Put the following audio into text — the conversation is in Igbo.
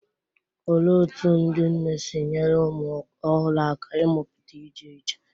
Olee otú ndị nne si nyere ụmụ ọhụrụ aka ịmụta ije ije?